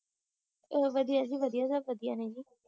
ਓ ਵਧੀਆ ਜੀ ਵਧੀਆ ਸਭ ਵਧੀਆ ਨੇ ਜੀ